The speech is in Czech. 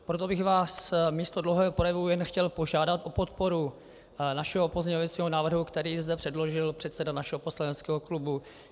Proto bych vás místo dlouhého projevu jen chtěl požádat o podporu našeho pozměňovacího návrhu, který zde předložil předseda našeho poslaneckého klubu.